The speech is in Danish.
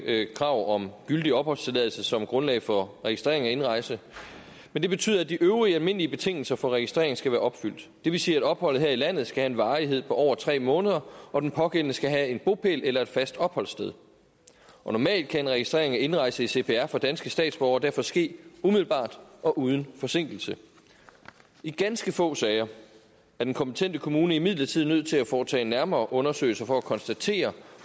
ikke krav om gyldig opholdstilladelse som grundlag for registrering af indrejse men det betyder at de øvrige almindelige betingelser for registrering skal være opfyldt det vil sige at opholdet her i landet skal have en varighed på over tre måneder og den pågældende skal have en bopæl eller et fast opholdssted normalt kan registrering af indrejse i cpr for danske statsborgere derfor ske umiddelbart og uden forsinkelse i ganske få sager er den konkrete kommune imidlertid nødt til at foretage nærmere undersøgelser for at konstatere